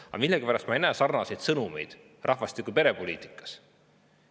Aga millegipärast ei näe ma sarnaseid sõnumeid rahvastiku‑ ja perepoliitika kohta.